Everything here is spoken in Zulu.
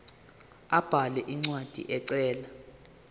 abhale incwadi ecela